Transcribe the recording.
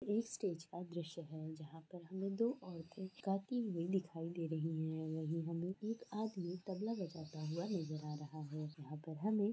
इस स्टेज का दर्शय है जहा पर हमे दो औरतों गाती हुई दिखाई दे रही है और हमे एक आदमी तबला बजाता हुआ नज़र आ रहा है यहां पर हमे --